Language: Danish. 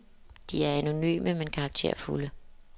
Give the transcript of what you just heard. De er anonyme, men karakterfulde.